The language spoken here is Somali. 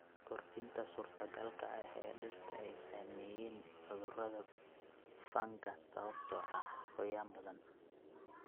Kordhinta suurtogalka ah ee dhirta ay saameeyeen cudurada fangas sababtoo ah qoyaan badan.